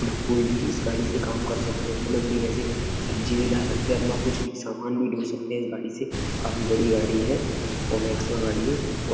ना कोई भी इस गाड़ी से काम कर सकते हैं जैसे मंडी में से सब्जी भी ला सकते हैं। आपना कुछ भी समान भी ढो सकते हैं इस गाड़ी से। काफ़ी बड़ी गाड़ी है। ओमेक्समा गाड़ी है। व --